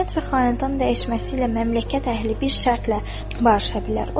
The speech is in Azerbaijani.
Hökumət və xanədan dəyişməsi ilə məmləkət əhli bir şərtlə barışa bilər.